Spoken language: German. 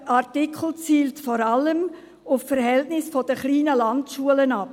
Dieser Artikel zielt vor allem auf die Verhältnisse der kleinen Landschulen ab.